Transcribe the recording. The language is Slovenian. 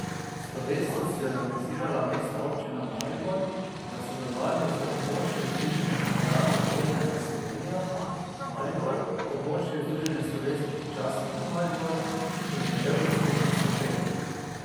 Slovesnost je organizirala Mestna občina Maribor v sodelovanju z Območnim združenjem veteranov vojne za Slovenijo Maribor, Območnim združenjem slovenskih častnikov Maribor in Krajevno skupnostjo Pekre.